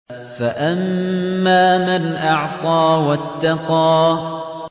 فَأَمَّا مَنْ أَعْطَىٰ وَاتَّقَىٰ